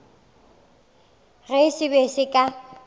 ge se be se ka